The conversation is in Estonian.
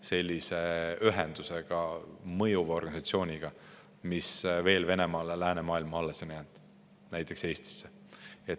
– sellise ühendusega, mõjuva organisatsiooniga, mis Venemaal on veel läänemaailma alles jäänud, näiteks Eestisse.